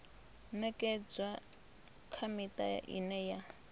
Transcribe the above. ṅekedzwa kha miṱa ine ya